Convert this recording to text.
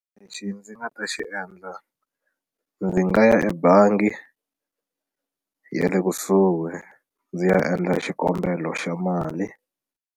Lexi ndzi nga ta xi endla ndzi nga ya ebangi yale kusuhi ndzi ya endla xikombelo xa mali.